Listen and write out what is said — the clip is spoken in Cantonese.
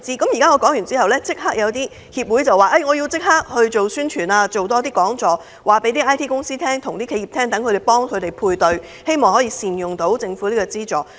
我昨天發言後，有些協會表示要立刻宣傳、多辦講座，向 IT 公司和企業推廣，並協助配對，令企業能夠善用政府資助。